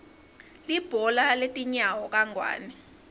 libhola letinyawo kangwane